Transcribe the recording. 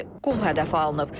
Belə ki, Qum hədəfə alınıb.